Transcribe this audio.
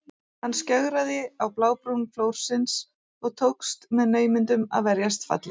Hann skjögraði á blábrún flórsins og tókst með naumindum að verjast falli.